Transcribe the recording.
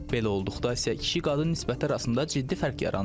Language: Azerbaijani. Belə olduqda isə kişi-qadın nisbəti arasında ciddi fərq yaranır.